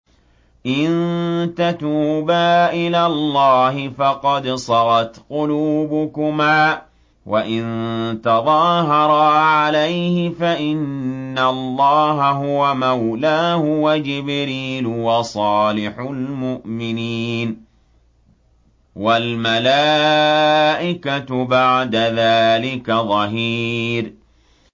إِن تَتُوبَا إِلَى اللَّهِ فَقَدْ صَغَتْ قُلُوبُكُمَا ۖ وَإِن تَظَاهَرَا عَلَيْهِ فَإِنَّ اللَّهَ هُوَ مَوْلَاهُ وَجِبْرِيلُ وَصَالِحُ الْمُؤْمِنِينَ ۖ وَالْمَلَائِكَةُ بَعْدَ ذَٰلِكَ ظَهِيرٌ